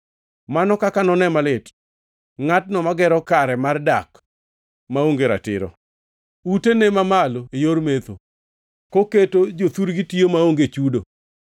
“Mano kaka none malit ngʼatno magero kare mar dak maonge ratiro, utene mamalo e yor mecho koketo jothurgi tiyo maonge chudo.